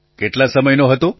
પ્રધાનમંત્રી કેટલા સમયનો હતો